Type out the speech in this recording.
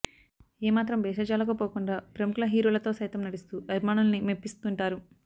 ఏమాత్రం భేషజాలకు పోకుండా ప్రముఖుల హీరోలతో సైతం నటిస్తూ అభిమానులని మెప్పిస్తుంటారు